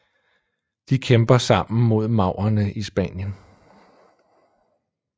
De kæmper sammen mod maurerne i Spanien